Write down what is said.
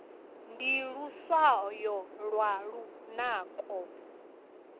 ndi luswayo lwa lunako